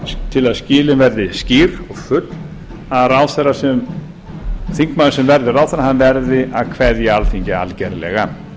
til að skilin verði skýr og full að þingmaður sem verður ráðherra verður að kveðja alþingi algerlega